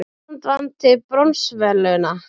Ísland vann til bronsverðlauna